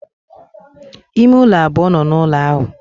Ime ule abuo no n'ulo ahu.